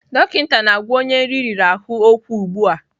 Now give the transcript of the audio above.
Dọkịta na-agwa onye nri riri ahụ okwu ugbu a.